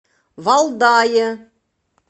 валдае